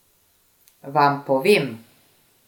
Vam povem!